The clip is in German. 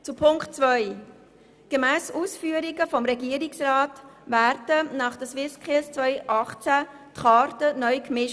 Zu Punkt 2: Gemäss den Ausführungen des Regierungsrats werden nach den SwissSkills 2018 die Karten neu gemischt.